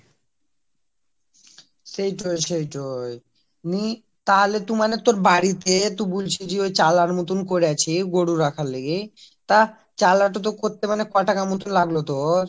সেইটোই সেইটোই ই তাহলে টু মানে তোর বাড়িতে তুই বুলছিলি ওই চলার মতো করে আছিস গরু রাখার লগে তা মানে চালাটাকে করতে কয়টাকা মতো লাগলো তোর ?